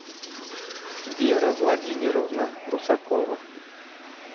вера владимировна русакова